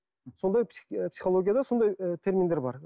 сондай психологияда да сондай ы терминдер бар